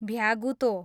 भ्यागुतो